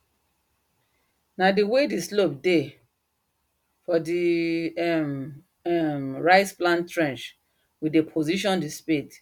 na the way the slope dey for the um um rice plant trench we dey position the spade